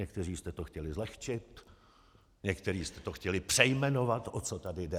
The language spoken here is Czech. Někteří jste to chtěli zlehčit, někteří jste to chtěli přejmenovat, o co tady jde.